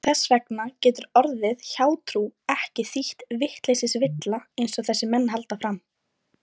Og þess vegna getur orðið hjátrú ekki þýtt vitleysisvilla einsog þessir menn halda fram.